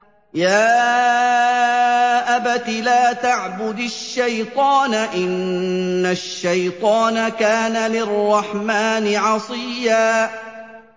يَا أَبَتِ لَا تَعْبُدِ الشَّيْطَانَ ۖ إِنَّ الشَّيْطَانَ كَانَ لِلرَّحْمَٰنِ عَصِيًّا